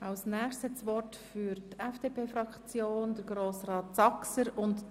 Als Nächstes hat das Wort für die FDP-Fraktion Grossrat Saxer.